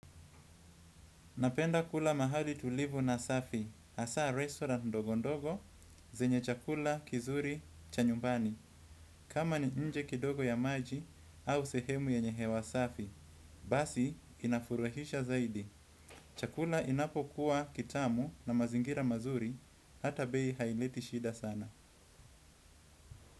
Napenda kula mahali tulivu na safi, hasa restaurant ndogo ndogo, zenye chakula kizuri cha nyumbani. Kama ni nje kidogo ya maji au sehemu yenye hewa safi, basi inafurahisha zaidi. Chakula inapo kuwa kitamu na mazingira mazuri, hata bei haileti shida sana.